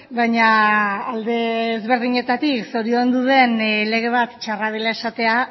baina alde ezberdinetatik zoriondu den lege bat txarra dela esatea